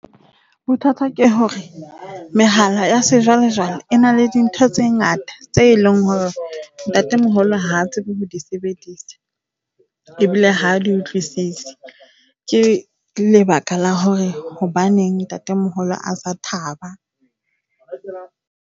Bothata ke hore mehala ya sejwalejwale e na le dintho tse ngata tse e leng hore ntatemoholo ha tsebe ho di sebedisa ebile ha a di utlwisise. Ke lebaka la hore hobaneng ntatemoholo a sa thaba.